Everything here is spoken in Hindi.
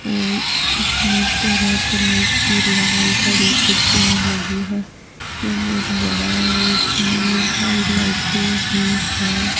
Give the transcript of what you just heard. और इसमें तरह तरह की लाल हरी कुर्सियां लगी हैं ये बहुत बड़ा है और इसमें बहुत सारी लाइटें भी हैं।